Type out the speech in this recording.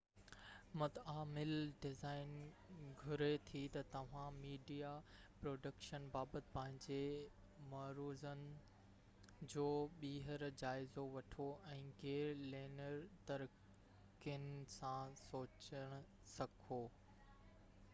متعامل design گهري ٿي ته توهان ميڊيا پروڊڪشن بابت پنهنجي مفروضن جو ٻيهر جائزو وٺو ۽ غير-لينيئر طريقن سان سوچڻ سکو